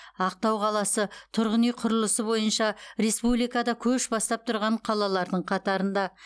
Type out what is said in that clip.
ақтау қаласы тұрғын үй құрылысы бойынша республикада көш бастап тұрған қалалардың қатарында